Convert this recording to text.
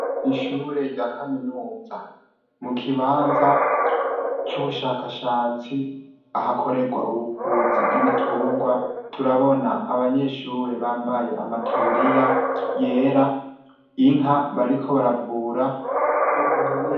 Ishure ryakaminuza mukibanza cubushakashatsi ahakorerwa ubuvuzi bwibitungwa turabona abanyeshure bambaye amataburiya yera inka bariko baravura